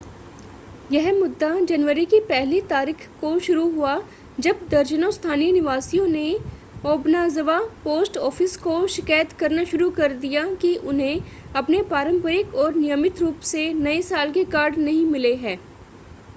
यह मुद्दा जनवरी की पहली तारीख को शुरू हुआ जब दर्जनों स्थानीय निवासियों ने ओबनाज़वा पोस्ट ऑफ़िस को शिकायत करना शुरू कर दिया कि उन्हें अपने पारंपरिक और नियमित रूप से नए साल के कार्ड नहीं मिले हैं